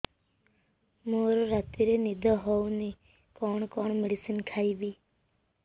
ମୋର ରାତିରେ ନିଦ ହଉନି କଣ କଣ ମେଡିସିନ ଖାଇବି